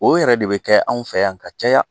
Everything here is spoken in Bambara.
O yɛrɛ de bɛ kɛ anw fɛ yan ka ca ya.